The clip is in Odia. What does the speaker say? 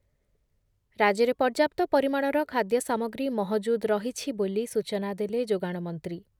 ରାଜ୍ୟରେ ପର୍ଯ୍ୟାପ୍ତ ପରିମାଣର ଖାଦ୍ୟ ସାମଗ୍ରୀ ମହଜୁଦ୍ ରହିଛି ବୋଲି ସୂଚନା ଦେଲେ ଯୋଗାଣ ମନ୍ତ୍ରୀ